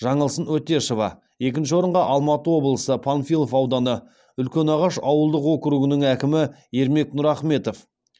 жаңылсын өтешова екінші орынға алматы облысы панфилов ауданы үлкенағаш ауылдық округінің әкімі ермек нұрахметов